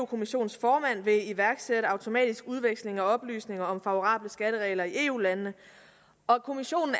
kommissionens formand vil iværksætte automatisk udveksling af oplysninger om favorable skatteregler i eu landene og at kommissionen